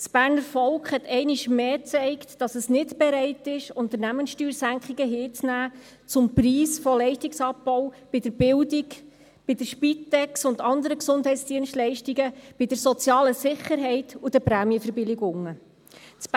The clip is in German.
Das Berner Volk hat einmal mehr gezeigt, dass es nicht bereit ist, Unternehmenssteuersenkungen zum Preis von Leistungsabbau bei der Bildung, bei der Spitex, bei anderen Gesundheitsdienstleistungen, bei der sozialen Sicherheit und bei den Prämienverbilligungen hinzunehmen.